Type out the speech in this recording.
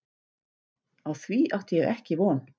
Á því átti ég ekki von.